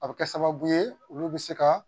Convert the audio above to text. A bɛ kɛ sababu ye olu bɛ se ka